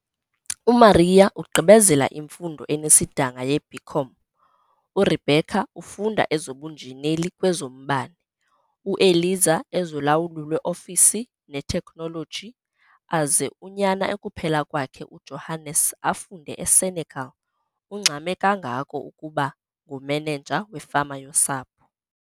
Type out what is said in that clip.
UMaria ugqibezela imfundo enesidanga yeB.Com, uRebecca ufunda ezobuNjineli kwezoMbane, uEliza ezoLawulo lwe-Ofisi neTekhnoloji, aze unyana ekuphela kwakhe uJohannes afunde eSenekal - ungxame kangako ukuba nguMenenja wefama yosapho.